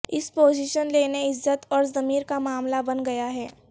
اس position لینے عزت اور ضمیر کا معاملہ بن گیا ہے